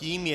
Tím je